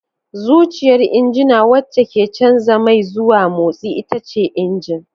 Zuciyar injina wacce ke canza mai zuwa motsi ita ce injin.